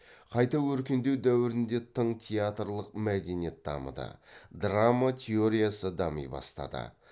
қайта өркендеу дәуірінде тың театрлық мәдениет дамыды драма теориясы дами бастады